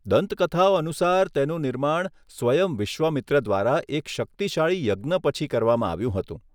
દંતકથાઓ અનુસાર, તેનું નિર્માણ સ્વયં વિશ્વામિત્ર દ્વારા એક શક્તિશાળી યજ્ઞ પછી કરવામાં આવ્યું હતું.